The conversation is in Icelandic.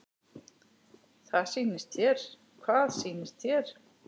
Hvað sýnist þér?